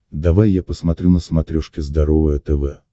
давай я посмотрю на смотрешке здоровое тв